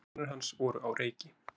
Hugsanir hans voru á reiki.